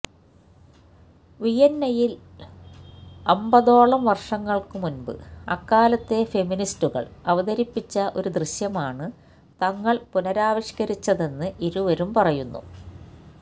വിയന്നയില് അമ്ബതോളം വര്ഷങ്ങള്ക്കുമുമ്ബ് അക്കാലത്തെ ഫെമിനിസ്റ്റുകള് അവതരിപ്പിച്ച ഒരു ദൃശ്യമാണ് തങ്ങള് പുനരാവിഷ്കരിച്ചതെന്ന് ഇരുവരും പറയുന്നു